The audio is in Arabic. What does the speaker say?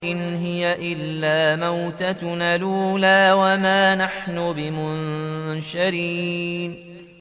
إِنْ هِيَ إِلَّا مَوْتَتُنَا الْأُولَىٰ وَمَا نَحْنُ بِمُنشَرِينَ